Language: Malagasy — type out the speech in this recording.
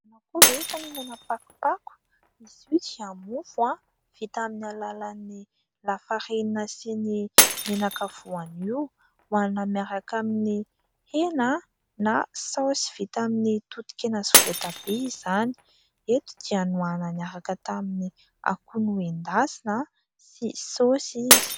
Ianao koa ve efa nihinana pakopako ? Izy io dia mofo vita amin'ny alalan'ny lafarinina sy ny menaka voanio. Hohanina miaraka amin'ny hena na saosy vita amin'ny totokena sy voatabia izany. Eto dia nohanina niaraka tamin'ny akoho nendasina sy saosy izy.